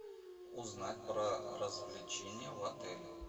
узнать про развлечения в отеле